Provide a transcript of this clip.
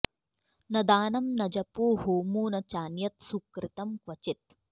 न दानं न जपो होमो न चान्यत्सुकृतं क्रचित्